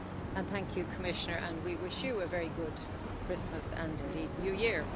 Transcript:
And thank you, Commissioner, we wish you a very good Christmas and indeed New Year.